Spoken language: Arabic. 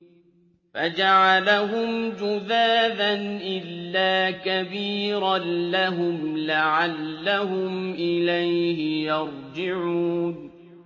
فَجَعَلَهُمْ جُذَاذًا إِلَّا كَبِيرًا لَّهُمْ لَعَلَّهُمْ إِلَيْهِ يَرْجِعُونَ